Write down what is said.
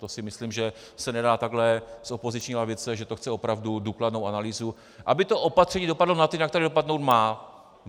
To si myslím, že se nedá takhle z opoziční lavice, že to chce opravdu důkladnou analýzu, aby to opatření dopadlo na ty, na které dopadnout má.